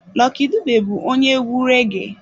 Lucky Dube bụ onye egwu reggee.